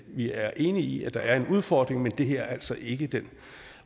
vi er enige i at der er en udfordring men det her er altså ikke den